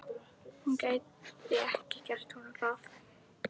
Hún gæti ekki gert honum það.